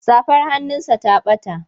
Safar hannunsa ta ɓata.